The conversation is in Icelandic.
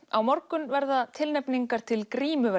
á morgun verður tilnefningar til